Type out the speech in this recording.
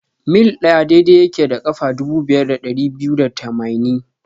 mil ɗaya daidai yake da ƙafa dubu biyar da dari biyu da tamaini.